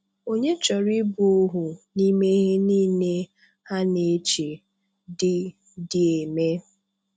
Ònye chọrọ ịbụ òhù n’ime ihe niile ha na-eche dị dị eme?